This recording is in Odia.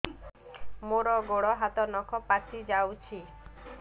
ମୋର ଗୋଡ଼ ହାତ ନଖ ପାଚି ଯାଉଛି